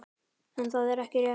En það er ekki rétt.